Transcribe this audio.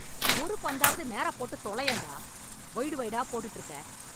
ஒரு பந்தாவது நேராப் போட்டுத் தொலையேன் டா! வைடு வைடாப் போட்டுட்டு இருக்க!